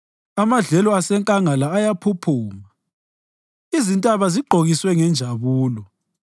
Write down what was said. Amadlelo asenkangala ayaphuphuma; izintaba zigqokiswe ngenjabulo.